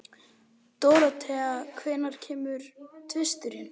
Dorothea, hvenær kemur tvisturinn?